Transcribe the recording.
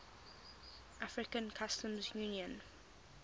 african customs union